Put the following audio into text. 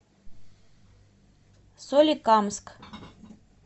соликамск